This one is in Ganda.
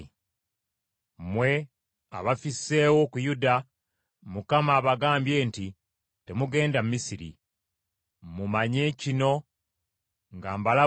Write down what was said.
“Mmwe abafisseewo ku Yuda, Mukama abagambye nti, ‘Temugenda Misiri.’ Mumanye kino nga mbalabula leero